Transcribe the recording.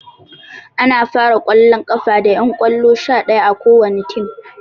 Ana fara ƙwallon ƙafa da ƴan ƙwallo sha ɗaya a kowani tim